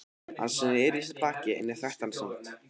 Hann sneri í mig baki en ég þekkti hann samt.